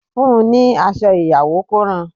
Fun ni aṣọ ìyàwó kó ran